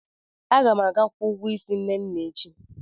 Aga m aga kwụọ ụgwọ ísí Nne na echi.